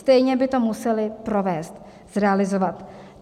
Stejně by to museli provést, zrealizovat.